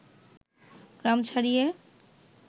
গ্রাম ছাড়িয়ে